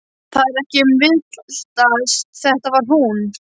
Það var ekki um að villast, þetta var hún!